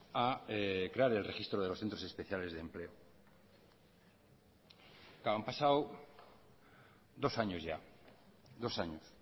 a crear el registro de los centros especiales de empleo han pasado dos años ya dos años